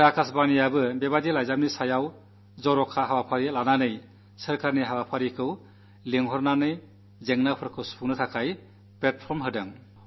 ആകാശവാണി അത്തരം കത്തുകളുടെ കാര്യത്തിൽ വിശേഷാൽ പരിപാടികൾ നടത്തി സർക്കാരിന്റെ പ്രതിനിധികളെ വിളിച്ച് പ്രശ്നങ്ങള്ക്കു പരിഹാരമുണ്ടാക്കാൻ വേദി ഒരുക്കി